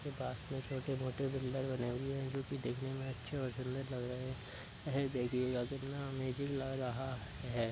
ये पास में छोटे मोटे बिल्डर बने हुए है जो की दिखने में अच्छे और सुंदर लग रहे हैं हैं देखिएगा कितना अमेज़िंग लग रहा हैं।